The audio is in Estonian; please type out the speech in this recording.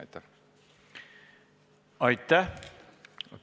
Aitäh!